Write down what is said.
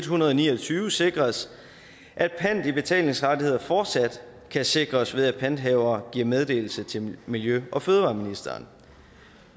hundrede og ni og tyve sikres at pant i betalingsrettigheder fortsat kan sikres ved at panthavere giver meddelelse til miljø og fødevareministeren